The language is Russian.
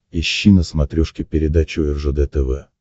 ищи на смотрешке передачу ржд тв